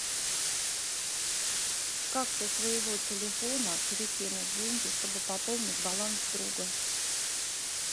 как со своего телефона перекинуть деньги чтобы пополнить баланс друга